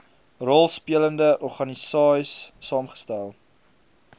rolspelende organisaies saamgestel